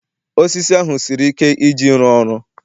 osisi ahu siri ike Iji ịrụ ọrụ